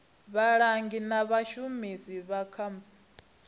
vhalangi na vhashumi vha comsec